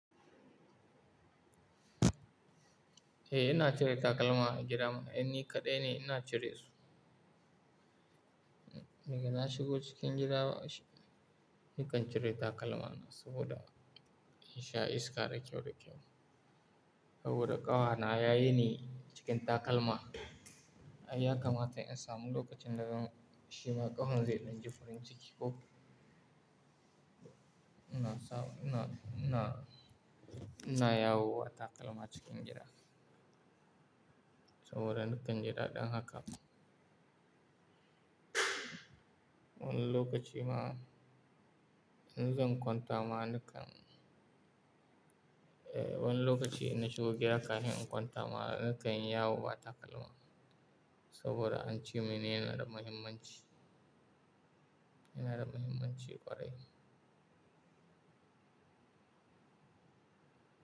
Eh, ina cire takalma a gidana. Inni kaɗai ne ina cire su. Daga na shigo cikin gidana, nakan cire takalmana saboda in sha iska da kyau da kyau. Saboda kafana ya yini cikin takalma. Ai, ya kamata in samu lokacin da zan shima ƙafan zai danji farin ciki ko. Ina sa-- ina, ina, ina yawo ba takalma cikin gida. Saboda nakan ji dadin haka. Wani lokaci ma in zan kwanta ma nakan, eh wani lokaci inna shigo gida kafin in kwanta ma na kanyi yawo ba takalma saboda an ce mini yana da muhimmanci. Yana da muhimmanci ƙwarai.